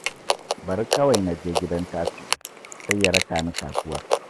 Bari kawai na je gidan Tasi'iu, sai ya raka ni kasuwar